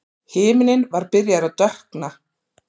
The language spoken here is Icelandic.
Himinninn var byrjaður að dökkna.